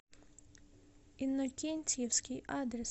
иннокентьевский адрес